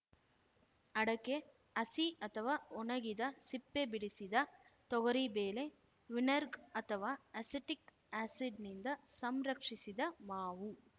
ಅಡಕೆ ಹಸಿ ಅಥವಾ ಒಣಗಿದ ಸಿಪ್ಪೆ ಬಿಡಿಸಿದ ತೊಗರಿ ಬೇಳೆ ವಿನೆರ್ಗ ಅಥವಾ ಅಸೆಟಿಕ್‌ ಆ್ಯಸಿಡ್‌ನಿಂದ ಸಂರಕ್ಷಿಸಿದ ಮಾವು